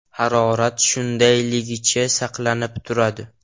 Harorat shundayligicha saqlanib turadi.